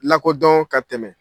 Lakodɔn ka tɛmɛ